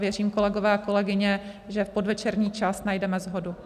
Věřím, kolegové a kolegyně, že v podvečerní čas najdeme shodu.